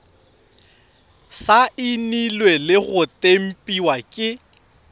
saenilwe le go tempiwa ke